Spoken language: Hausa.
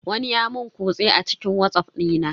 Wani ya mun kutse a cikin watsaff dina.